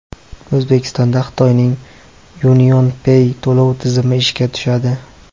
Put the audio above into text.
O‘zbekistonda Xitoyning UnionPay to‘lov tizimi ishga tushadi.